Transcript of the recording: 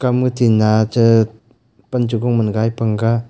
ama ti ngacha pan chigo man gai panga.